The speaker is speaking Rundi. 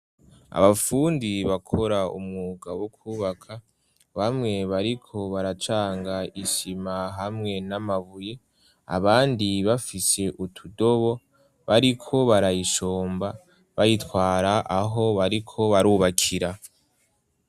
Abapfundi bakora umwuga wokubaka, bamwe bariko baracanga ishima hamwe n'amabuye abandi bafise utudobo bariko barayishomba bayitwara aho bariko barubakira.